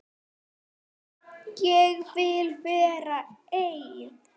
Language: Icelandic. Ég vil vera einn.